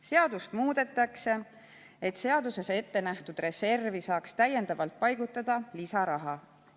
Seadust muudetakse, et seaduses ette nähtud reservi saaks täiendavalt paigutada lisaraha.